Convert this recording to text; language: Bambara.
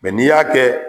Mɛ n'i y'a kɛ